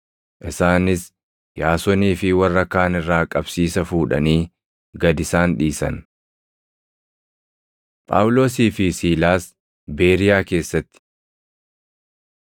Isaanis Yaasonii fi warra kaan irraa qabsiisa fuudhanii gad isaan dhiisan. Phaawulosii fi Siilaas Beeriyaa Keessatti